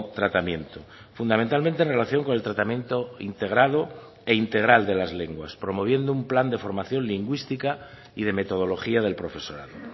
tratamiento fundamentalmente en relación con el tratamiento integrado e integral de las lenguas promoviendo un plan de formación lingüística y de metodología del profesorado